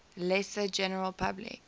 lesser general public